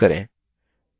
report layout को चुनें